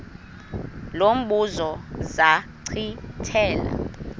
lo mbuzo zachithela